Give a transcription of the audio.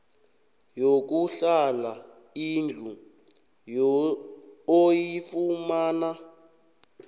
yokuhlala indlu oyifumana